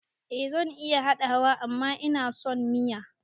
Eh zan iya haɗawa amma inason miyan